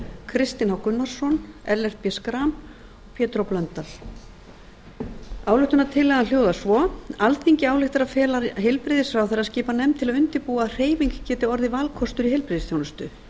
kristinn h gunnarsson ellert b schram og pétur h blöndal ályktunartillagan hljóðar svo alþingi ályktar að fela heilbrigðisráðherra að skipa nefnd til að undirbúa að hreyfing geti orðið valkostur í heilbrigðisþjónustu